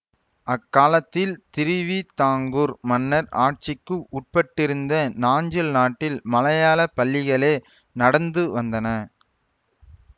அக்காலத்தில் திருவிதாங்கூர் மன்னர் ஆட்சிக்கு உட்பட்டிருந்த நாஞ்சில் நாட்டில் மலையாள பள்ளிகளே நடந்து வந்தன